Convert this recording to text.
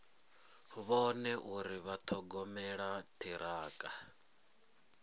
vhone uri vha ṱhogomela ṱhirakha